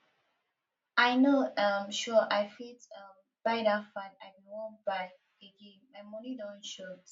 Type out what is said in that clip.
i no um sure i fit um buy that fan i bin wan buy again my money don short